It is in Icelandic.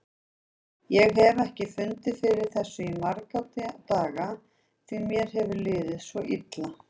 Ég hef ekki fundið fyrir þessu í marga daga því mér hefur liðið svo illa.